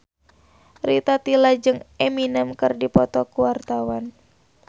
Rita Tila jeung Eminem keur dipoto ku wartawan